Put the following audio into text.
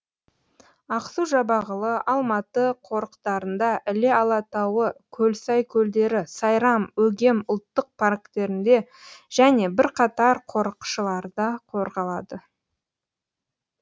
ақсу жабағылы алматы қорықтарында іле алатауы көлсай көлдері сайрам өгем ұлттық парктерінде және бірқатар қорықшаларда қорғалады